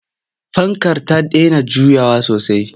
Fankar ta dena juyawa sosai.